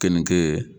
Keninge